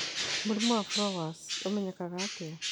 Mũrimũ wa Fowlers ũmenyekaga atĩa?